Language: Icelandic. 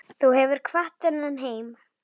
Þú hefur kvatt þennan heim.